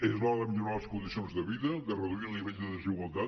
és l’hora de millorar les condicions de vida de reduir el nivell de desigualtat